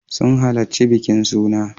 Sun halarci bikin suna.